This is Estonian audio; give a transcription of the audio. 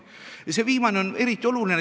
See viimane on eriti oluline.